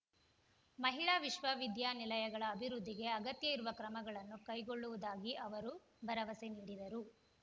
ಮಹಿಳಾ ವಿಶ್ವವಿದ್ಯಾನಿಲಯಗಳ ಅಭಿವೃದ್ಧಿಗೆ ಅಗತ್ಯ ಇರುವ ಕ್ರಮಗಳನ್ನು ಕೈಗೊಳ್ಳುವುದಾಗಿ ಅವರು ಭರವಸೆ ನೀಡಿದರು